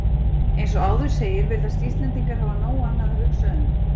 Eins og áður segir virðast Íslendingar hafa nóg annað að hugsa um.